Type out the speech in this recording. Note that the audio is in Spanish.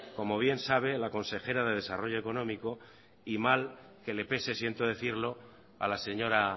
como bien sabe la consejera de desarrollo económico y mal que le pese siento decirlo a la señora